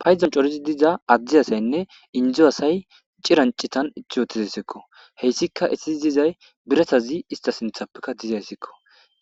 payzon corizi diza addi asaynne indzu asay cirancitan ithi wotizesekko heyssika estii dizay biratazi ista sinthappekka dizayssekko